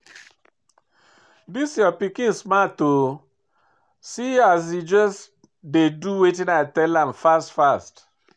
Dis your pikin smart oo, see as he just dey do wetin I tell am fast fast